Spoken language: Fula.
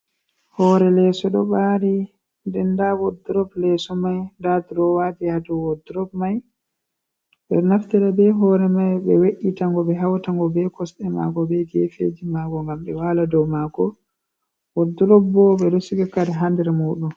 Hore leso ɗo ɓari, nden nda wodurop leso mai nda durowaji ha dow wodurop mai, ɓeɗo naftira be Hore Mai ɓe we'etago ɓe hawta ngo be kosɗe mago be gefeji mago ngam ɓewala dow mango, wodurop bo ɓeɗo siga kare ha nder muɗum.